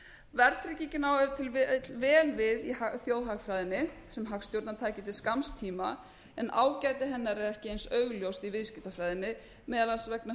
verðtryggingin á ef til vill vel við í þjóðhagfræðinni sem hagstjórnartæki til skamms tíma en ágæti hennar er ekki eins augljóst í viðskiptafræðinni meðal annars vegna